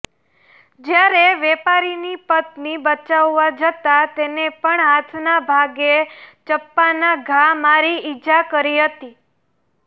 જ્યારે વેપારીની પત્ની બચાવવા જતાં તેને પણ હાથના ભાગે ચપ્પાના ઘા મારી ઇજા કરી હતી